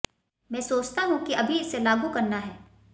मैं सोचता हूं कि अभी इसे लागू करना है